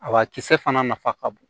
A kisɛ fana nafa ka bon